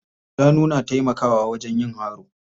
Shanu na taimakawa wajen yin haro.